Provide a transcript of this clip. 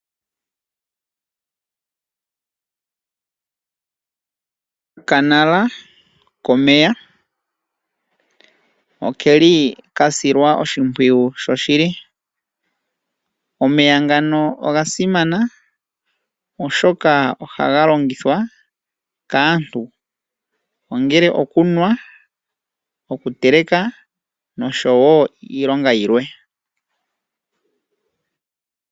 Opuna uundama mbono wuna omeya gasilwa oshipwiyu. Omeya ogasimana oshoka ohaga longithwa kaantu okuteleka, okunwa, okuyoga oshowo iilonga yilwe.